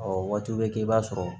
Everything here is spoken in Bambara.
Ɔ waati bɛ kɛ i b'a sɔrɔ